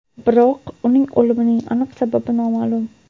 Biroq, uning o‘limining aniq sababi noma’lum.